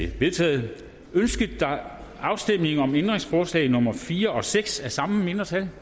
vedtaget ønskes afstemning om ændringsforslag nummer fire og seks af samme mindretal